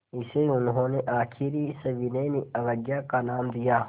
इसे उन्होंने आख़िरी सविनय अवज्ञा का नाम दिया